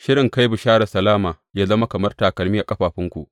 shirin kai bisharar salama yă zama kamar takalmi a ƙafafunku.